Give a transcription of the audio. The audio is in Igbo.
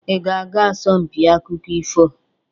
Ị ga-aga asompi akụkọ ifo?